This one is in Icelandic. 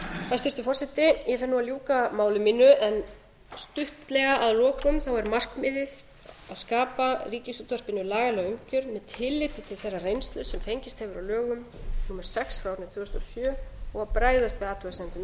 hæstvirtur forseti ég fer nú að ljúka máli mínu en stuttlega að lokum er það markmiðið að skapa ríkisútvarpinu lagalega umgjörð með tilliti til þeirrar reynslu sem fengist hefur á lögum númer sex tvö þúsund og sjö og bregðast við athugasemdum